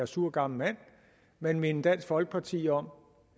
sur gammel mand minde dansk folkeparti om